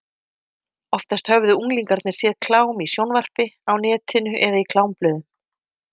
Oftast höfðu unglingarnir séð klám í sjónvarpi, á netinu eða í klámblöðum.